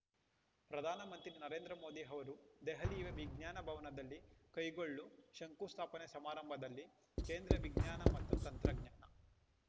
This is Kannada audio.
ಪ್ರಧಾನಮಂತ್ರಿ ನರೇಂದ್ರ ಮೋದಿ ಅವರು ದೆಹಲಿಯ ವಿಜ್ಞಾನ ಭವನದಲ್ಲಿ ಕೈಗೊಳ್ಳು ಶಂಕುಸ್ಥಾಪನೆ ಸಮಾರಂಭದಲ್ಲಿ ಕೇಂದ್ರ ವಿಜ್ಞಾನ ಮತ್ತು ತಂತ್ರಜ್ಞಾನ